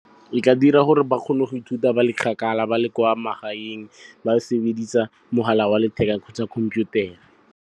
E tla dira gore ba kgone go ithuta ba le kgakala, ba le kwa magaeng. Ba sebedisa mogala wa letheka kgotsa khomphutare.